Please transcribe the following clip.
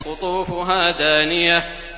قُطُوفُهَا دَانِيَةٌ